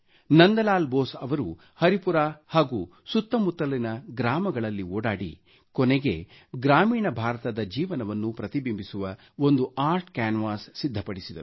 ನಂದಲಾಲ್ ಬೋಸ್ ಅವರು ಹರಿಪುರಾ ಸುತ್ತಮುತ್ತಲಿನ ಗ್ರಾಮಗಳಲ್ಲಿ ಓಡಾಡಿ ಕೊನೆಗೆ ಗ್ರಾಮೀಣ ಭಾರತದ ಜೀವನವನ್ನು ಪ್ರತಿಬಿಂಬಿಸುವ ಒಂದು ಆರ್ಟ್ ಕ್ಯಾನ್ವಾಸ್ ಸಿದ್ಧಪಡಿಸಿದರು